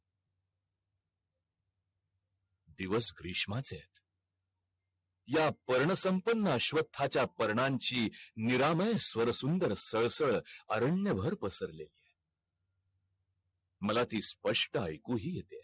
दिवस ग्रेश्माचेयत या पर्ण संपन्न अश्वत्थ चा पर्णांची निरामय स्वर सुंदर सळसळ अरण्य भर पसरलेली आहे मला ती स्पष्ट आयकू हि येते